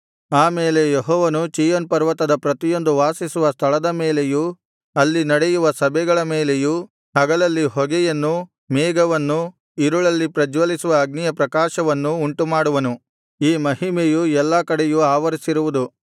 ಆಮೇಲೆ ಯೆಹೋವನು ಚೀಯೋನ್ ಪರ್ವತದ ಪ್ರತಿಯೊಂದು ವಾಸಿಸುವ ಸ್ಥಳದ ಮೇಲೆಯೂ ಅಲ್ಲಿ ನಡೆಯುವ ಸಭೆಗಳ ಮೇಲೆಯೂ ಹಗಲಲ್ಲಿ ಹೊಗೆಯನ್ನೂ ಮೇಘವನ್ನೂ ಇರುಳಲ್ಲಿ ಪ್ರಜ್ವಲಿಸುವ ಅಗ್ನಿಯ ಪ್ರಕಾಶವನ್ನೂ ಉಂಟುಮಾಡುವನು ಈ ಮಹಿಮೆಯು ಎಲ್ಲಾ ಕಡೆಯು ಆವರಿಸಿರುವುದು